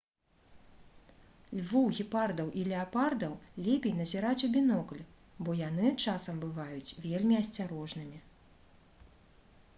львоў гепардаў і леапардаў лепей назіраць у бінокль бо яны часам бываюць вельмі асцярожнымі